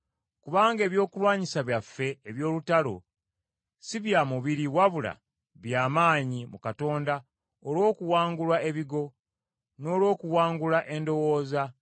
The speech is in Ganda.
kubanga ebyokulwanyisa byaffe eby’olutalo, si bya mubiri wabula bya maanyi mu Katonda olw’okuwangula ebigo, n’olw’okuwangula endowooza,